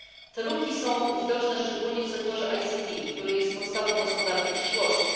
Te luki są widoczne szczególnie w sektorze ICT, który jest podstawą gospodarki przyszłości.